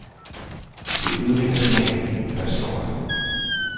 Det ødelægger smagen, fastslår han.